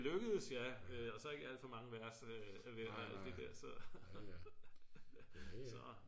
det lykkedes ja og så ikke alt for mange vers så